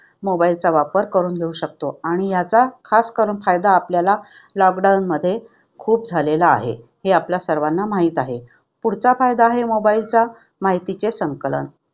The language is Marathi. Mobile चा वापर करून घेऊ शकतो आणि याचा खास करून फायदा आपल्याला lockdown मध्ये खूप झालेला आहे. हे आपल्या सर्वांना माहित आहे. पुढचा फायदा आहे Mobile चा माहितीचे संकलन.